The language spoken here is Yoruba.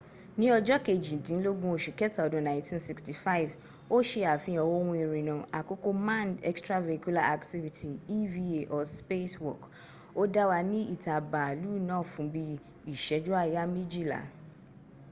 ni ojo kejidinlogun osu keta odun 1965 o se afihan ohun irinna akoko manned extravehicular activity eva or spacewalk” o da wa ni ita baalu naa fun bi iseju aya mejila